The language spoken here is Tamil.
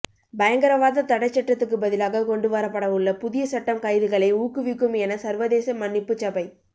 பயங்கரவாத தடைச்சட்டத்துக்கு பதிலாக கொண்டு வரப்படவுள்ள புதிய சட்டம் கைதுகளை ஊக்குவிக்கும் என சர்வதேச மன்னிப்புச் சபை